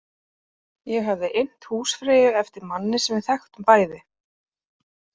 Ég hafði innt húsfreyju eftir manni sem við þekktum bæði.